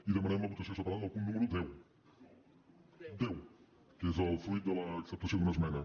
i demanem la votació separada del punt número deu deu que és el fruit de l’acceptació d’una esmena